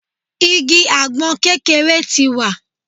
Igi àgbọn kékeré ti wà